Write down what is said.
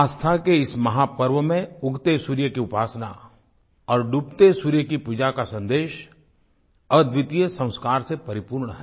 आस्था के इस महापर्व में उगते सूर्य की उपासना और डूबते सूर्य की पूजा का सन्देश अद्वितीय संस्कार से परिपूर्ण है